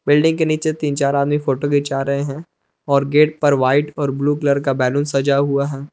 Building के नीचे तीन चार आदमी फोटो खींचा रहे हैं और गेट पर वाइट और ब्लू कलर का बैलून सजा हुआ है।